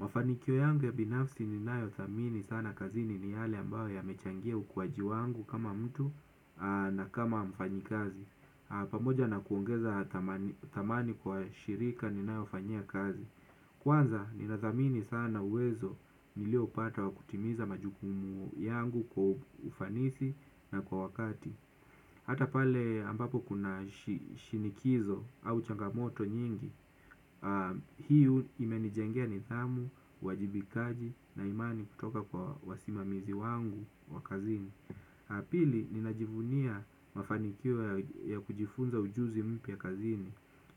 Mafanikio yangu ya binafsi ni nayo dhamini sana kazini ni yale ambayo yamechangia ukuwaji wangu kama mtu na kama mfanyikazi. Pamoja na kuongeza dhamani kwa shirika ninayo fanyia kazi. Kwanza nina thamini sana uwezo nilio upata wa kutimiza majukumu yangu kwa ufanisi na kwa wakati. Hata pale ambapo kuna shinikizo au changamoto nyingi, hio imenijengea nidhamu, uwajibikaji na imani kutoka kwa wasimamizi wangu wa kazini. Ya pili, ninajivunia mafanikio ya kujifunza ujuzi mpya kazini.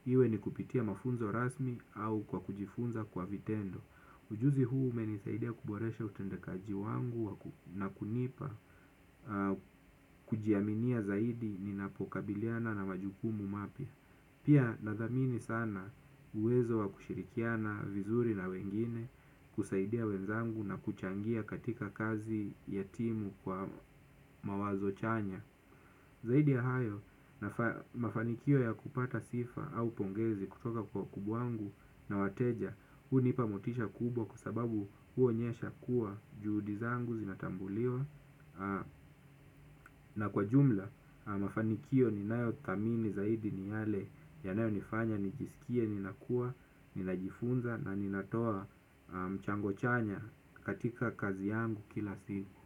Iwe ni kupitia mafunzo rasmi au kwa kujifunza kwa vitendo. Ujuzi huu umenisaidia kuboresha utendekaji wangu na kunipa kujiaminia zaidi ninapokabiliana na majukumu mapya. Pia nadhamini sana uwezo wa kushirikiana vizuri na wengine, kusaidia wenzangu na kuchangia katika kazi ya timu kwa mawazo chanya. Zaidi ya hayo mafanikio ya kupata sifa au pongezi kutoka kwa wakubwa wangu na wateja hu nipa motisha kubwa kwa sababu hu onyesha kuwa juhudi zangu zinatambuliwa na kwa jumla mafanikio ninayo dhamini zaidi ni yale yanayo nifanya nijisikie ninakua, ninajifunza na ninatoa mchango chanya katika kazi yangu kila siku.